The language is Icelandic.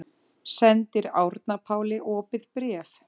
Sendir Árna Páli opið bréf